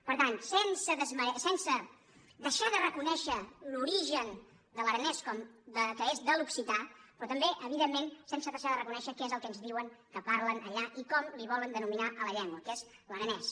per tant sense deixar de reconèixer l’origen de l’aranès que és de l’occità però també evidentment sense deixar de reconèixer què és el que ens diuen que parlen allà i com li volen denominar a la llengua que és l’aranès